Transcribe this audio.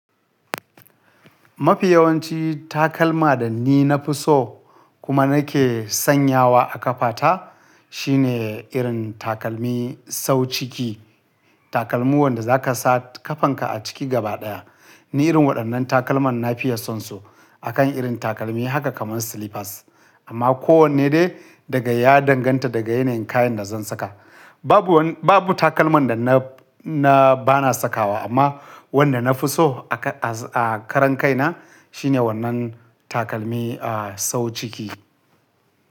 Mafi yawanci takalma da ni na fi so kuma na ke sanyawa a ƙafa ta shine irin takalmi sau ciki. Takalmi wanda za ka sa ƙafanka a ciki gaba ɗaya. Ni irin waɗannan takalman na fiya son su akan irin takalmi haka kaman slippers. Amma kowanne dai daga ya danganta daga yanayin kayan da zan saka. Babu wani, babu takalman da na, na bana sakawa amma wanda na fi so a, a, a karan kai na shine wannan takalmi a sau ciki.